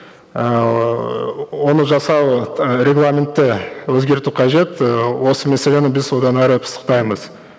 ыыы оны жасау ы регламентті өзгерту қажет ііі осы мәселені біз одан әрі пысықтаймыз